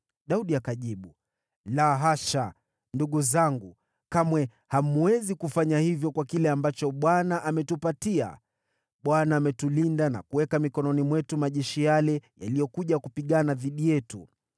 Daudi akajibu, “La hasha, ndugu zangu, kamwe hamwezi kufanya hivyo kwa kile ambacho Bwana ametupatia. Yeye ametulinda na kuweka mikononi mwetu majeshi yale yaliyokuja kupigana dhidi yetu.